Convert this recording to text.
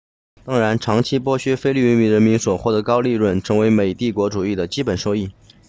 当然长期剥削菲律宾人民所获得的高额利润成为美帝国主义的基本收益